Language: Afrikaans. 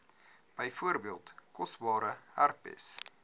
byvoorbeeld koorsblare herpes